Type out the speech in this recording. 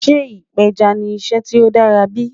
Sẹ́ ìpẹjá ni ìṣẹ́ tí ó dàra bí?